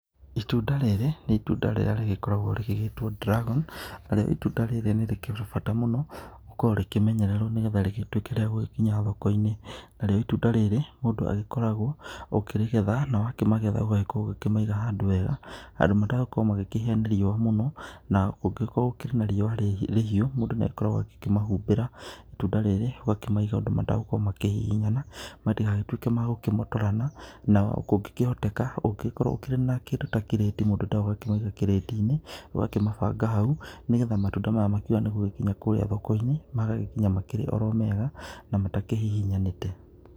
Itunda rĩrĩ, nĩ itunda rĩrĩa rĩgĩkoragwo rĩgĩgĩĩtwo dragon, itunda rĩrĩ nĩ rĩkĩrĩ bata mũno gũkorwo rĩkĩmenyererwo nĩ getha rĩgĩtuĩke rĩa gũgĩkinya thoko-inĩ, na rĩo itunda rĩrĩ mũndũ agĩkoragwo ũkĩrĩgetha, na ũgakĩmagetha na ũgagĩkorwo ũkĩmaiga handũ wega, handũ matagũkorwo makĩhĩa nĩ riũa mũno, na kũngĩgĩkorwo gũkĩrĩ na riũa rĩhiũ mũndũ nĩ agĩkoragwo agĩkĩmahumbĩra, itunda rĩrĩ ũgakĩmaiga ũndũ matagũkorwo makĩhihinyana, matigagĩtũĩke ma kũmotorana, na kũngĩkĩhoteka, ũngĩgĩkorwo ũkĩrĩ na kĩndũ ta kirĩti mũndũ no ũkĩmaige kirĩti-inĩ, ũgakĩmabanga hau nĩ getha matunda maya makĩega nĩ gugĩkinya kũũrĩa thoko-inĩ magagĩkinya makĩrĩ oro mega, na matakĩhihinyanĩte.